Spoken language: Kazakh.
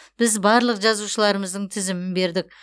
біз барлық жазушыларымыздың тізімін бердік